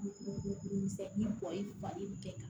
Ni bɛ kɛ tan